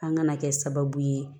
An kana kɛ sababu ye